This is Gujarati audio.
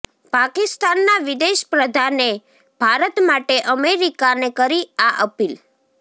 પાકિસ્તાનના વિદેશ પ્રધાને ભારત માટે અમેરિકાને કરી આ અપીલ